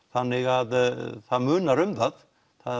þannig að það munar um það